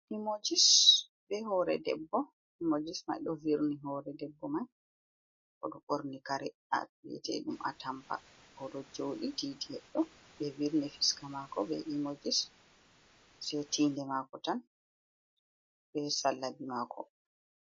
Emojis be hore debbo emojis mai do wirni hore debbo mai odo borni kare dum be wi'ata atampa odo jodi titi heddo be wirni fiska mako be emojis sey tinde mako tan be salabi mako.